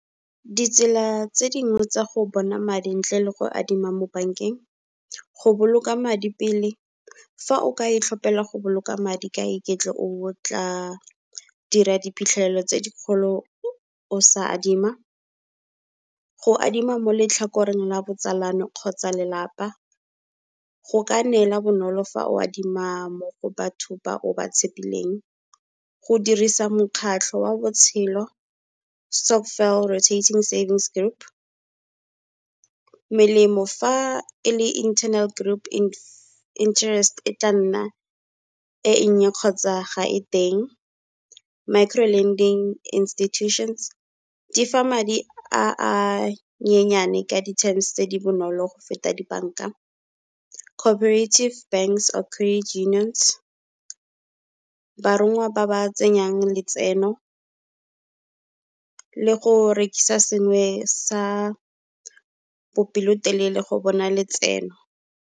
Ditsela tse dingwe tsa go bona madi ntle le go adima mo bank-eng. Go boloka madi pele fa o ka itlhopela go boloka madi ka iketlo o tla dira diphitlhelelo tse dikgolo o o sa adima. Go adima mo letlhakoreng la botsalano kgotsa lelapa go ka neela bonolo fa o adima mo go batho ba o ba tshepileng. Go dirisa mokgatlho oa botshelo stokvel rotating savings group, melemo fa e le internal group interest, e tla nna e nnye kgotsa ga e teng. Micro lending institutions, di fa madi a a nyenyane ka di-terms tse di bonolo go feta di-bank-a. Cooperative banks or unions barongwa ba ba tsenyang letseno le go rekisa sengwe sa bopelotelele go bona letseno.